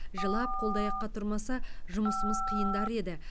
жылап қолды аяққа тұрмаса жұмысымыз қиындар еді